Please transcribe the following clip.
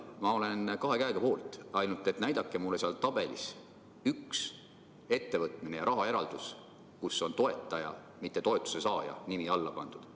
Ma olen kahe käega selle poolt, ainult et näidake mulle seal tabelis üks ettevõtmine ja rahaeraldis, kuhu on toetaja, mitte toetuse saaja nimi alla pandud.